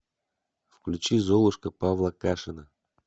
включи золушка павла кашина